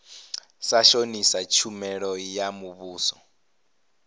sa shonisa tshumelo ya muvhuso